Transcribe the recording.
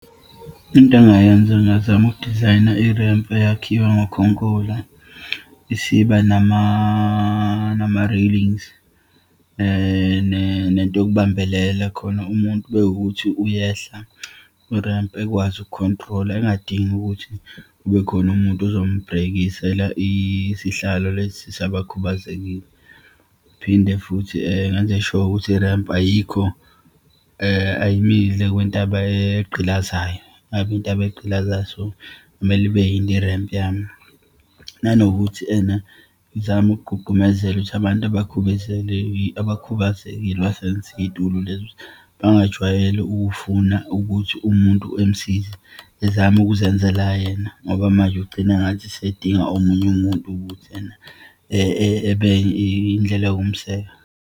Into engingayenza, ngingazama ukudizayina irempu eyakhiwe ngokhonkola, isiba nama-railings, nento yokubambelela khona umuntu uma wukuthi uyehla kurempu, ekwazi ukukhontrola, engadingi ukuthi kubekhona umuntu ozombrekisela isihlalo lesi sabakhubazekile. Phinde futhi ngenze sure ukuthi irempu ayikho ayimile kwintaba egqilazayo, ngabe intaba egqilazayo. So, kumele ibe yinde irempu yami. Nanokuthi ena ngizame ukugqugqumezela ukuthi abantu abakhubazekile basebenzise iyitulo lezo. Bangajwayeli ukufuna ukuthi umuntu emsize, ezama ukuzenzela yena ngoba manje ugcina ngathi usedinga omunye umuntu ukuthi ebeyindlela yokumseka.